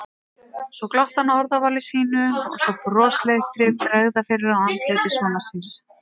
Svo glotti hann að orðavali sínu og sá brosleiftri bregða fyrir á andliti sonar síns.